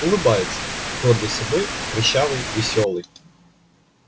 улыбается гордый собой прыщавый весёлый